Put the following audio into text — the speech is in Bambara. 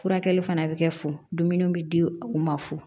Furakɛli fana bɛ kɛ fu dumuni bɛ di u ma fu